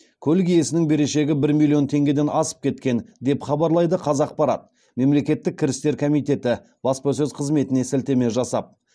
көлік иесінің берешегі бір миллион теңгеден асып кеткен деп хабарлайды қазақпарат мемлекеттік кірістер комитеті баспасөз қызметіне сілтеме жасап